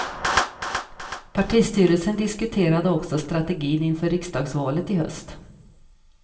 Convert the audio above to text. Partistyrelsen diskuterade också strategin inför riksdagsvalet i höst.